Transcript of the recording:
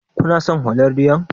Kuna son holandiyar?